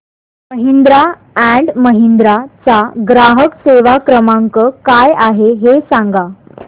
Mahindra and Mahindra चा ग्राहक सेवा क्रमांक काय आहे हे सांगा